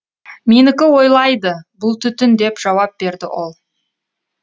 менікі ойлайды бұл түтін деп жауап берді ол